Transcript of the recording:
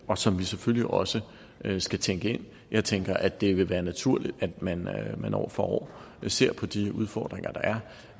og som vi selvfølgelig også skal tænke ind jeg tænker at det vil være naturligt at man man år for år ser på de udfordringer der